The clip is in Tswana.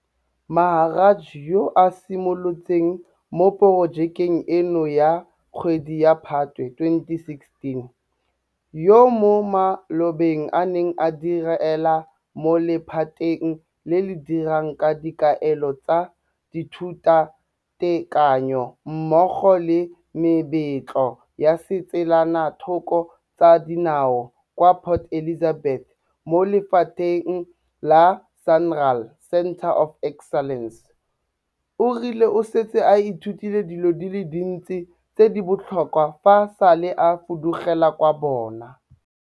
Maharaj yo a simolotseng mo porojekeng eno ka kgwedi ya Phatwe 2016, yo mo malobeng a neng a direla mo lephateng le le dirang ka dikaelo tsa dithutatekanyo mmogo le mebetlo ya ditselanathoko tsa dinao kwa Port Elizabeth mo lephateng la SANRAL Centre of Excellence, o rile o setse a ithutile dilo di le dintsi tse di botlhokwa fa e sale a fudugela kwa bokone.